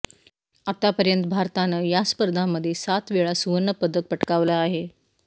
आतापर्यंत भारतानं या स्पर्धांमध्ये सात वेळा सुवर्ण पदक पटकावलं आहे